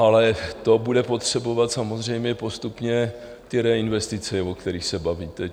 Ale to bude potřebovat samozřejmě postupně ty reinvestice, o kterých se bavíte.